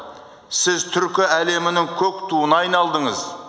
сіз түркі әлемінің көк туына айналдыңыз